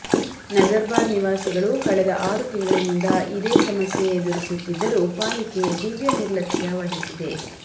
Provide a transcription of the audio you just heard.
ನಜರ್ಬಾದ್ ನಿವಾಸಿಗಳು ಕಳೆದ ಆರು ತಿಂಗಳಿನಿಂದ ಇದೇ ಸಮಸ್ಯೆ ಎದುರಿಸುತ್ತಿದ್ದರೂ ಪಾಲಿಕೆ ದಿವ್ಯ ನಿರ್ಲಕ್ಷ್ಯ ವಹಿಸಿದೆ